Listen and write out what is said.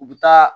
U bɛ taa